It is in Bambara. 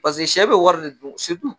sɛ bɛ wari de dun